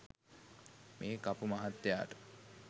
මේ කපු මහත්තයාට